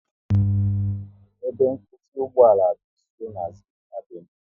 Ebe nkwụsị ugboala dị nsọ na Zik avenui